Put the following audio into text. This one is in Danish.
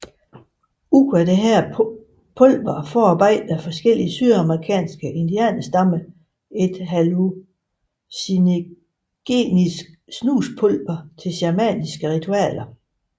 Ud af dette pulver forarbejder forskellige sydamerikanske indianerstammer et hallucinagenisk snuspulver til shamanske ritualer